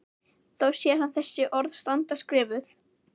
Þá sér hann þessi orð standa skrifuð